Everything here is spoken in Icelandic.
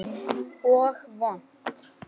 Og vont.